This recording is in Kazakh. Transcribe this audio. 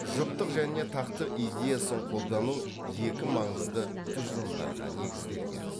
жұптық және тақтық идеясын қолдану екі маңызды тұжырымдарға негізделген